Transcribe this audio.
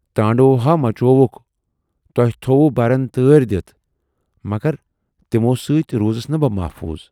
تانڈو ہا مچووُکھ۔ تۅہہِ تھٔووٕ بَرن تٲرۍ دِتھ مگر تِمَو سۭتۍ روٗزٕس نہٕ بہٕ محفوٗظ۔